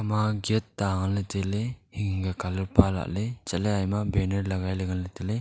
ema gate ta ngan ley tai ley hing hing ka colour e pa lah ley che ley banner lagai ley ngan tai ley.